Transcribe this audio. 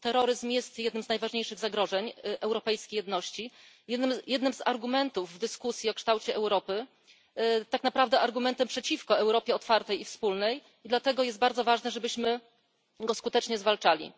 Terroryzm jest jednym z najważniejszych zagrożeń europejskiej jedności, jednym z argumentów w dyskusji o kształcie Europy, ale tak naprawdę argumentem przeciwko Europie otwartej i wspólnej, i dlatego bardzo ważne jest, byśmy go skutecznie zwalczali.